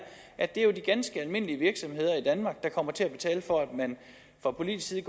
at det jo er de ganske almindelige virksomheder i danmark der kommer til at betale for at man fra politisk side